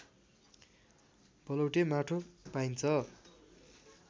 बलौटे माटो पाइन्छ